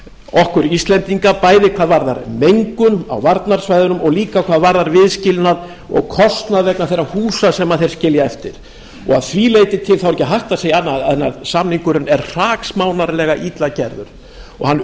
okkur íslendinga bæði hvað varðar mengun á varnarsvæðunum og líka hvað varðar viðskilnað og kostnað vegna þeirra húsa sem þeir skilja eftir að því leyti til er ekki hægt að segja annað en samningurinn er hraksmánarlega illa gerður og hann